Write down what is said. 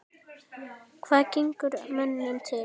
Hvað gengur mönnum til?